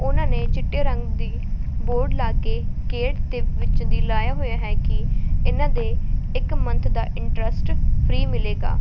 ਉਹਨਾਂ ਨੇ ਚਿੱਟੇ ਰੰਗ ਦੀ ਬੋਰਡ ਲਾ ਕੇ ਗੇਟ ਤੇ ਵਿੱਚ ਦੀ ਲਾਇਆ ਹੋਇਆ ਹੈ ਕਿ ਇਹਨਾਂ ਦੇ ਇੱਕ ਮੰਥ ਦਾ ਇੰਟ੍ਰਸਟ ਫ੍ਰੀ ਮਿਲੇਗਾ।